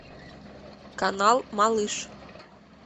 канал малыш